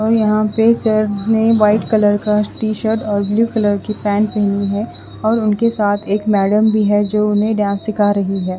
और यहां पे सर में वाइट कलर का टी शर्ट और ब्लू कलर की पैंट पहनी है और उनके साथ एक मैडम भी है जो उन्हें डांस सिखा रही है।